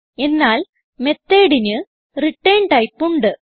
എന്നാൽ Methodന് return type ഉണ്ട്